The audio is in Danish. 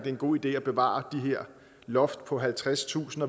en god idé at bevare det her loft på halvtredstusind